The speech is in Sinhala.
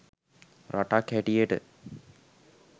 රටක් හැටියට